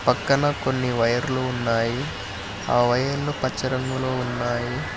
పక్కన కొన్ని వైర్లు ఉన్నాయి ఆ వైర్లు పచ్చ రంగులో ఉన్నాయి.